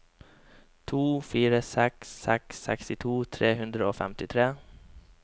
to fire seks seks sekstito tre hundre og femtitre